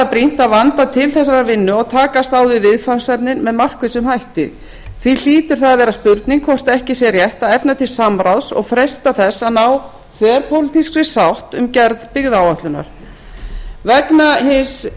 brýnt að vanda til þessarar vinnu og takast á við viðfangsefnin með markvissum hætti því hlýtur það að vera spurning hvort ekki sé rétt að efna til samráðs og freista þess að ná þverpólitískri sátt um gerð byggðaáætlunar vegna hins